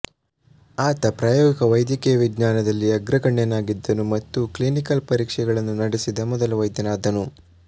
ಆತ ಪ್ರಯೋಗಿಕ ವೈದ್ಯಕೀಯ ವಿಜ್ಞಾನದಲ್ಲಿ ಅಗ್ರಗಣ್ಯನಾಗಿದ್ದನು ಮತ್ತು ಕ್ಲಿನಿಕಲ್ ಪರೀಕ್ಷಣೆಗಳನ್ನು ನಡೆಸಿದ ಮೊದಲ ವೈದ್ಯನಾದ್ದನು